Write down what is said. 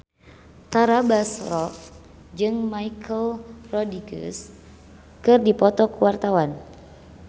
Tara Basro jeung Michelle Rodriguez keur dipoto ku wartawan